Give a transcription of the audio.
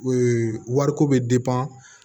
Ee wariko bɛ